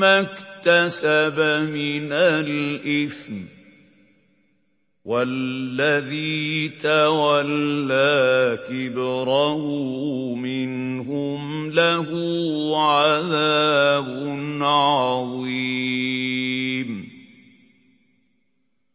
مَّا اكْتَسَبَ مِنَ الْإِثْمِ ۚ وَالَّذِي تَوَلَّىٰ كِبْرَهُ مِنْهُمْ لَهُ عَذَابٌ عَظِيمٌ